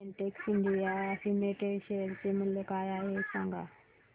Betex India limited share चे मूल्य काय आहे हे सांगा